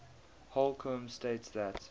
holcombe states that